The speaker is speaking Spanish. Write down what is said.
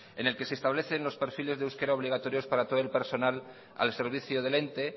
en el que se establece los perfiles de euskera obligatorios para todo el personal al servicio del ente